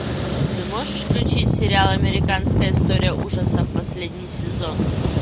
ты можешь включить сериал американская история ужасов последний сезон